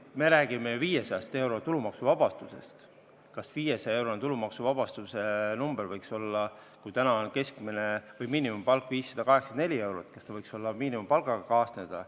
Me räägime ju 500-eurosest tulumaksuvabastusest, kas 500-eurone tulumaksuvabastus, kui täna on miinimumpalk 584 eurot, võiks miinimumpalgaga kaasneda.